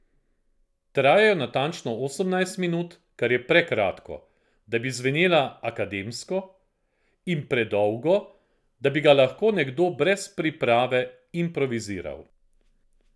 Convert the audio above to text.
Trajajo natančno osemnajst minut, kar je prekratko, da bi zvenela akademsko, in predolgo, da bi ga lahko nekdo brez priprave improviziral.